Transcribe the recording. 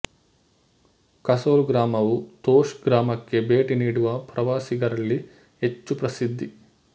ಕಸೊಲ್ ಗ್ರಾಮವು ತೋಶ್ ಗ್ರಾಮಕ್ಕೆ ಭೇಟಿ ನೀಡುವ ಪ್ರವಾಸಿಗರಲ್ಲಿ ಹೆಚ್ಚು ಪ್ರಸಿದ್ಧಿ